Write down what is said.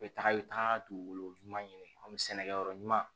U bɛ taga i bɛ taa dugukolo ɲuman ɲini an bɛ sɛnɛkɛyɔrɔ ɲuman